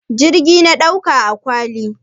Jirgi na ɗaukan akwati?